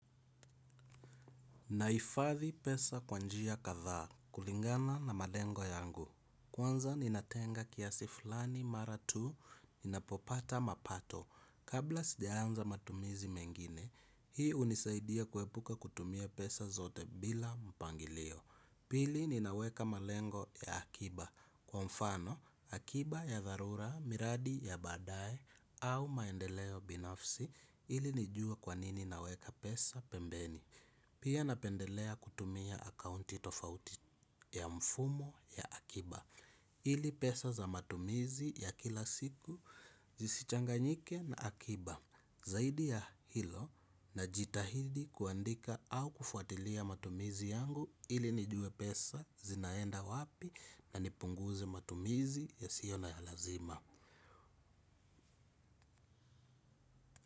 Nahifadhi pesa kwa njia kadhaa kulingana na malengo yangu. Kwanza ninatenga kiasi fulani mara tu ninapopata mapato. Kabla sija anza matumizi mengine, hii hunisaidia kuepuka kutumia pesa zote bila mpangilio. Pili ninaweka malengo ya akiba. Kwa mfano, akiba ya dharura, miradi ya baadaye au maendeleo binafsi ili nijue kwa nini naweka pesa pembeni. Pia napendelea kutumia akaunti tofauti ya mfumo ya akiba. Ili pesa za matumizi ya kila siku, zisichanganyike na akiba. Zaidi ya hilo najitahidi kuandika au kufuatilia matumizi yangu ili nijue pesa zinaenda wapi na nipunguze matumizi yasiyo ya lazima.